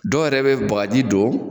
Dɔw yɛrɛ bɛ bakaji don